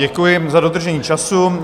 Děkuji za dodržení času.